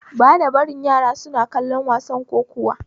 Bana barin yara su kalli wasan kokuwa